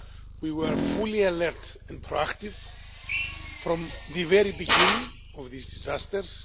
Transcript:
We were fully alert and pro active, from the very beginning of these disasters.